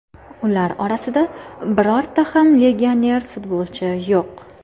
Ular orasida birorta ham legioner futbolchi yo‘q.